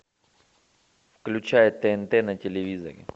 включай тнт на телевизоре